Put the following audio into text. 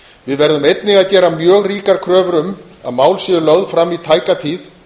við verðum einnig að gera mjög ríkar kröfur um að mál séu lögð fram í tæka tíð